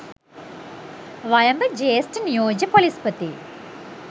වයඹ ජ්‍යෙෂ්ඨ නියෝජ්‍ය පොලිස්‌පති